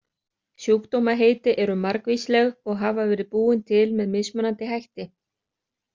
Sjúkdómaheiti eru margvísleg og hafa verið búin til með mismunandi hætti.